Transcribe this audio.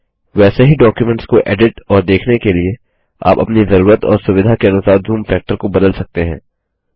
वैसे ही डॉक्युमेंट्स को एडिट और देखने के लिए आप अपनी जरूरत और सुविधा के अनुसार जूम फैक्टर को बदल सकते हैं